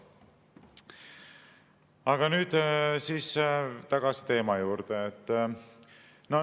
Aga nüüd siis tagasi teema juurde.